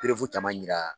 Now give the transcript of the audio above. caman yira